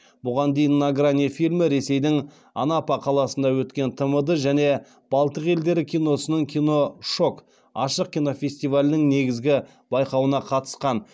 бұған дейін на грани фильмі ресейдің анапа қаласында өткен тмд және балтық елдері киносының киношок ашық кинофестивалінің негізгі байқауына қатысқан